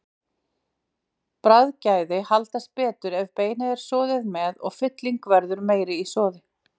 Bragðgæði haldast betur ef beinið er soðið með og fylling verður meiri í soði.